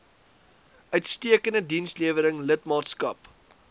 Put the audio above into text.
uitstekende dienslewering lidmaatskap